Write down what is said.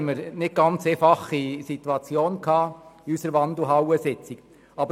Wegen der Anträge war die Situation während unserer Wandelhallensitzung nicht ganz einfach.